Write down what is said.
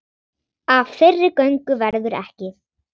Af þeirri göngu verður ekki.